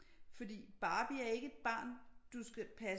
Fordi Barbie er ikke et barn du skal passe